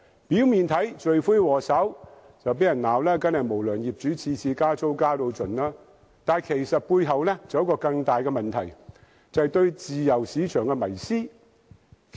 表面看來，罪魁禍首當然是經常被責罵的無良業主，每次加租都要"加到盡"，但背後其實還有一個更大問題，就是對自由市場的迷思。